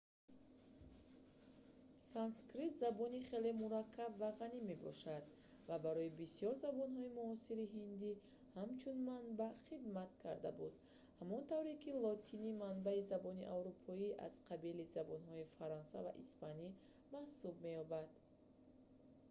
санскрит забони хеле мураккаб ва ғанӣ мебошад ва барои бисёр забонҳои муосири ҳиндӣ ҳамчун манбаъ хидмат карда буд ҳамон тавре ки лотинӣ манбаи забонҳои аврупоӣ аз қабили забонҳои фаронсавӣ ва испанӣ маҳсуб меёбад